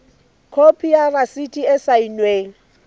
khopi ya rasiti e saennweng